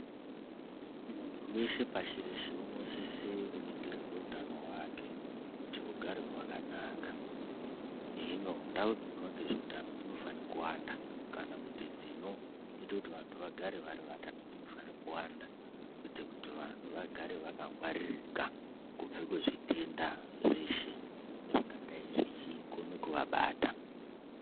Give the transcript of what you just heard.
Muntu weshe pashi reshe unosise kuningirwe utano hwake kuti hugare hwakanaka. Hino, ndau dzinoitwa ngezveutano dzinofane kuwanda kana kuti dzinoite kuti vantu vagare vari vatano dzinofane kuwanda, kuite kuti vanhu vagare vakangwaririka kubve kuzvitenda zveshe zvingadai zvechikone kuvabata.